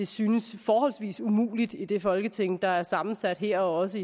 synes forholdsvis umuligt i det folketing der er sammensat her og også